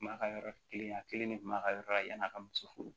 M'a ka yɔrɔ kelen a kelen de kun b'a ka yɔrɔ la yan'a ka muso furu